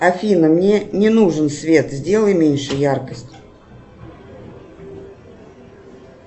афина мне не нужен свет сделай меньше яркость